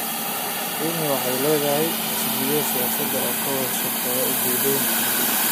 Kenya waxay leedahay xisbiyo siyaasadeed oo ka wada shaqeeya ujeedooyinka guud.